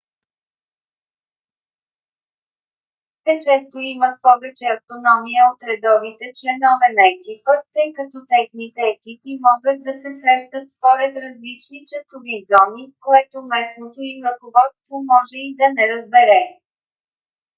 те често имат повече автономия от редовите членове на екипа тъй като техните екипи могат да се срещат според различни часови зони което местното им ръководство може и да не разбере